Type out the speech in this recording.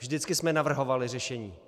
Vždycky jsme navrhovali řešení.